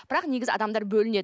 бірақ негізі адамдар бөлінеді